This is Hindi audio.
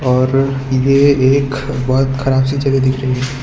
और ये एक बहोत खराब सी जगह दिख रही है।